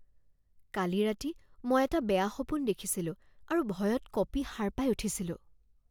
কালি ৰাতি মই এটা বেয়া সপোন দেখিছিলোঁ আৰু ভয়ত কঁপি সাৰ পাই উঠিছিলোঁ